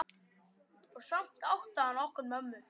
Og samt átti hann okkur mömmu.